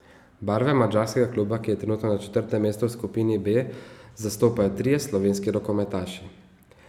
Barve madžarskega kluba, ki je trenutno na četrtem mestu v skupini B, zastopajo trije slovenski rokometaši.